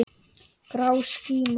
Grá skíma.